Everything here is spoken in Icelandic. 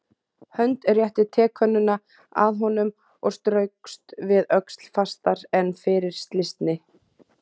Hönd rétti tekönnuna að honum og straukst við öxl fastar en fyrir slysni.